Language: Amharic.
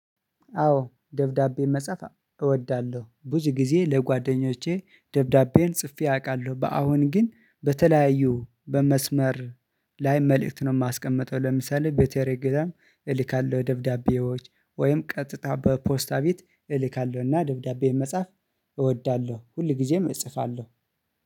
አዎ ደብዳቤ መጻፍ እወዳለሁ፤ ብዙ ጊዜ ለጓደኞቼ ደብዳቤን ጽፌ አውቃለሁ። በአሁን ግን በተለያዩ በመስመር ላይ መልእክት ነው የማስቀምጠው ለምሳሌ በቴሌግራም እልካለሁ ደብዳቤዎች ወይም ቀጥታ በፖስታ ቤት እልካለሁና ደብዳቤ መጻፍ እወዳለሁ ሁልጊዜም እጽፋለሁ።